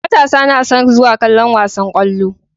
Matasa nason zuwa kallon wasan kwallo